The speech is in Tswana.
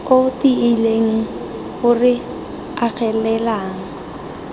o tiileng o re agelelang